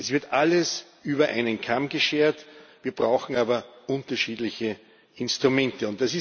Es wird alles über einen Kamm geschert, wir brauchen aber unterschiedliche Instrumente.